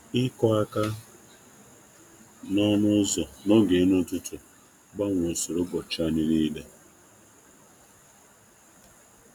Ịkụ aka n'ọnụ ụzọ n'oge erimeri ụtụtụ um gbanwere ụzọ ụbọchị anyị si aga dum.